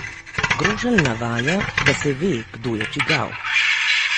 Grošelj navaja, da se ve, kdo je čigav.